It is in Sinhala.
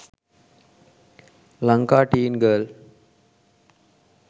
lanka teen girl